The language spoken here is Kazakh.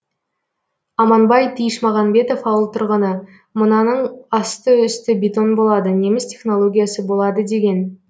аманбай тиішмағанбетов ауыл тұрғыны мынаның асты үсті бетон болады неміс технологиясы болады деген